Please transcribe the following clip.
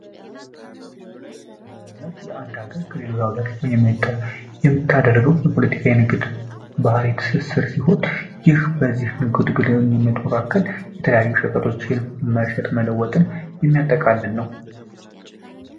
የምታደርገው የፖለቲካዊ ንግግር ባህሪ ትስስር ይሁን የተለያዩ ሸቀጦች መሸጥ መለወጥን የሚያጠቃልል ነው።